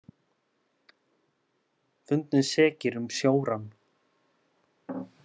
Fundnir sekir um sjórán